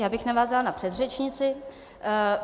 Já bych navázala na předřečnici.